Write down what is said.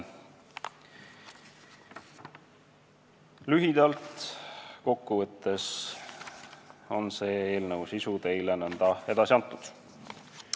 Lühidalt kokku võttes on selle eelnõu sisu teile edasi antud.